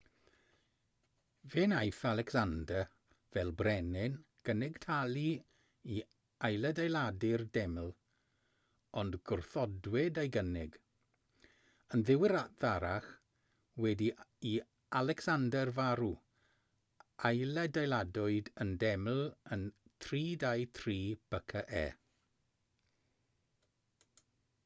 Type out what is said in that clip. fe wnaeth alecsander fel brenin gynnig talu i ailadeiladu'r deml ond gwrthodwyd ei gynnig yn ddiweddarach wedi i alecsander farw ailadeiladwyd y deml yn 323 bce